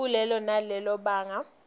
kulelo nalelo banga